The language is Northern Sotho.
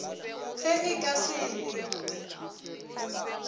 ge e ka se ne